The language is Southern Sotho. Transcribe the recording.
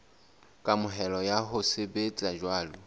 kamohelo ya ho sebetsa jwalo